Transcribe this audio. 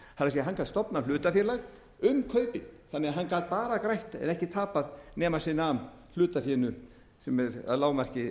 er hann gat stofnað hlutafélag um kaupin þannig að hann gat bara grætt en ekki tapað nema sem nam hlutafénu sem er að lágmarki